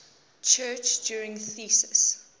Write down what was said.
church turing thesis